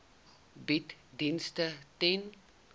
bied dienste ten